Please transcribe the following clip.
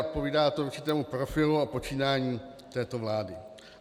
Odpovídá to určitému profilu a počínání této vlády.